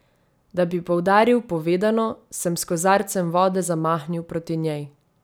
Da bi poudaril povedano, sem s kozarcem vode zamahnil proti njej.